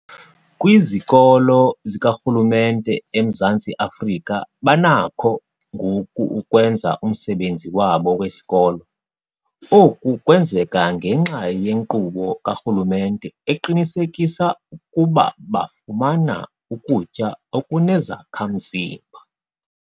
Kwizikolo zikarhulumente eMzantsi Afrika banakho ngoku ukwenza umsebenzi wabo wesikolo. Oku kwenzeka ngenxa yenkqubo karhulumente eqinisekisa ukuba bafumana ukutya okunezakha-mzimba.